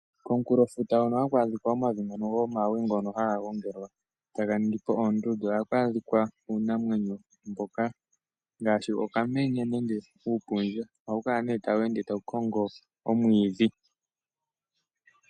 Kokulofuta hono haku adhika omavi ngono gomawe ngono haga gongelwa taganingipo oondundu ohaku adhika uunamwenyo mboka, ngashi okamenye nenge uupundja ohawu kala ne tawu ende tawu kongo omwidhi